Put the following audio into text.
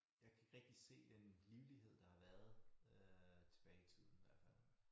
Jeg kan ikke rigtig se den livlighed der har været øh tilbage i tiden i hvert fald